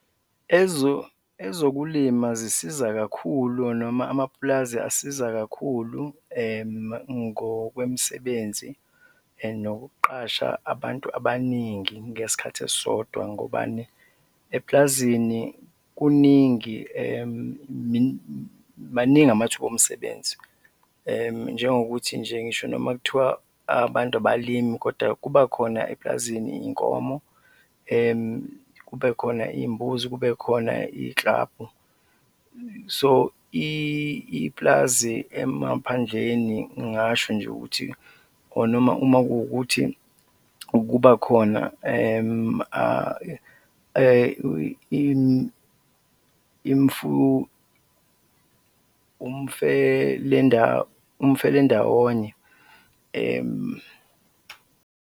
Ezokulima zisiza kakhulu noma amapulazi asiza kakhulu ngokwemisebenzi and nokuqasha abantu abaningi ngesikhathi esisodwa, ngobani? Epulazini kuningi, maningi amathuba omsebenzi njengokuthi nje ngisho noma kuthiwa abantu abalimi kodwa kuba khona epulazini iy'nkomo, kube khona iy'mbuzi, kubekhona iy'klabhu, so ipulazi emaphandleni ngingasho nje ukuthi or noma uma kuwukuthi ukuba khona umfelendawonye, .